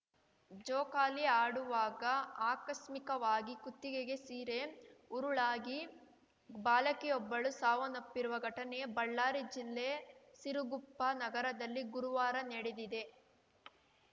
ಜೋಕಾಲಿ ಆಡುವಾಗ ಆಕಸ್ಮಿಕವಾಗಿ ಕುತ್ತಿಗೆಗೆ ಸೀರೆ ಉರುಳಾಗಿ ಬಾಲಕಿಯೊಬ್ಬಳು ಸಾವನ್ನಪ್ಪಿರುವ ಘಟನೆ ಬಳ್ಳಾರಿ ಜಿಲ್ಲೆ ಸಿರುಗುಪ್ಪ ನಗರದಲ್ಲಿ ಗುರುವಾರ ನಡೆದಿದೆ